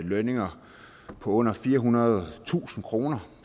lønninger på under firehundredetusind kr